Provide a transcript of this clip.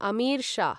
अमीर शः